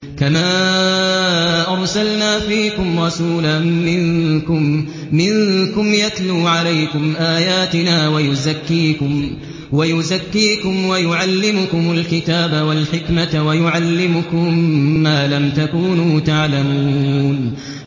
كَمَا أَرْسَلْنَا فِيكُمْ رَسُولًا مِّنكُمْ يَتْلُو عَلَيْكُمْ آيَاتِنَا وَيُزَكِّيكُمْ وَيُعَلِّمُكُمُ الْكِتَابَ وَالْحِكْمَةَ وَيُعَلِّمُكُم مَّا لَمْ تَكُونُوا تَعْلَمُونَ